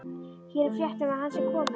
Hér er frétt um að hann sé kominn.